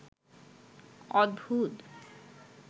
অদ্ভুত